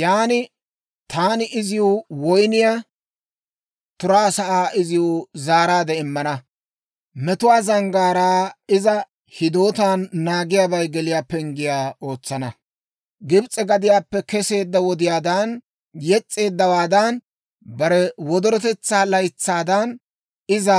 Yan taani izi woyniyaa turaa sa'aa iziw zaaraade immana; Metuwaa zanggaaraa iza hidootaan naagiyaabay geliyaa penggiyaa ootsana. Gibs'e gadiyaappe keseedda wodiyaadan, yes's'eeddawaada bare wodorotetsaa laytsaadan, iza